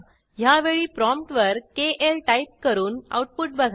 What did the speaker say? ह्यावेळी प्रॉम्प्ट वर KL type करून आऊटपुट बघा